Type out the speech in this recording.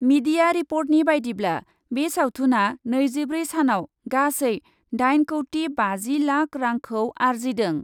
Media रिपर्टनि बायदिब्ला, बे सावथुनआ नैजिब्रै सानआव गासै दाइन कौटि बाजि लाख रांखौ आरजिदों ।